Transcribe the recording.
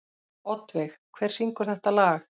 Oddveig, hver syngur þetta lag?